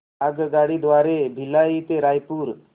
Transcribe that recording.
आगगाडी द्वारे भिलाई ते रायपुर